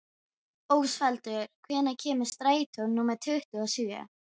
Ósvaldur, hvenær kemur strætó númer tuttugu og sjö?